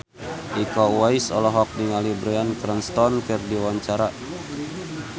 Iko Uwais olohok ningali Bryan Cranston keur diwawancara